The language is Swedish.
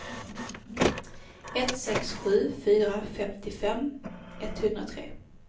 ett sex sju fyra femtiofem etthundratre